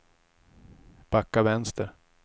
backa vänster